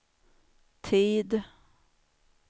tid